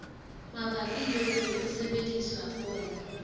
mabapi le ho sebedisa poone